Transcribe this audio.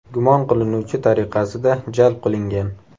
gumon qilinuvchi tariqasida jalb qilingan.